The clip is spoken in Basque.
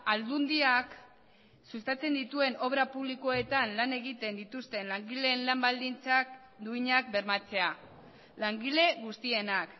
aldundiak sustatzen dituen obra publikoetan lan egiten dituzten langileen lan baldintzak duinak bermatzea langile guztienak